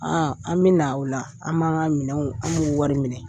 an bɛ na o la an b'an ka minɛnw an b'u wari minɛ.